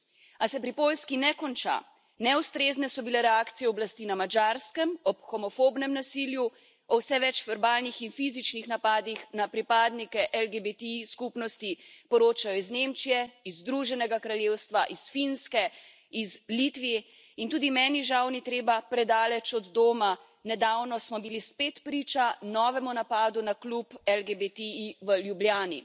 A se pri Poljski ne konča, neustrezne so bile reakcije oblasti na Madžarskem, ob homofobnem nasilju, o vse več verbalnih in fizičnih napadih na pripadnike LGBTI skupnosti poročajo iz Nemčije, iz Združenega kraljestva, iz Finske, iz Litve, in tudi medni, žal, ni treba predaleč od doma, nedavno smo bili spet priča novemu napadu na klub LGBTI v Ljubljani.